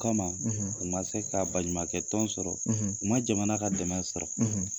Kɔma u ma se ka baɲumankɛ tɔn sɔrɔ, , u ma jamana ka dɛmɛ sɔrɔ,